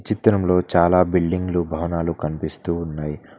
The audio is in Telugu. చిత్రంలో చాలా బిల్డింగ్లు భవనాలు కనిపిస్తూ ఉన్నాయ్.